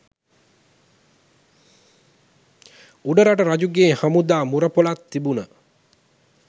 උඩරට රජුගේ හමුදා මුරපොළක් තිබුණ